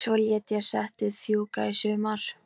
Svo lét ég settið fjúka í sumar.